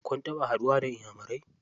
Kun taɓa haɗuwa da iyamurai?